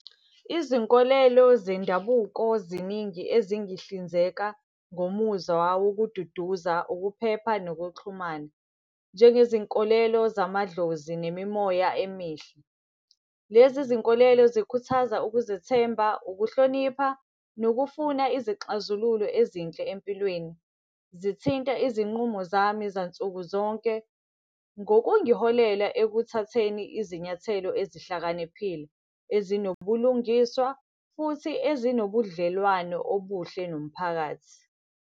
Izinkolelo zendabuko ziningi ezingihlinzeka ngomuzwa wokududuza, ukuphepha nokuxhumana. Njengezinkolelo zamadlozi nemimoya emihle. Lezi zinkolelo zikhuthaza ukuzethemba, ukuhlonipha, nokufuna izixazululo ezinhle empilweni. Zithinta izinqumo zami zansuku zonke, ngokungiholela ekuthatheni izinyathelo ezihlakaniphile. Ezinobulungiswa futhi ezinobudlelwano obuhle nomphakathi.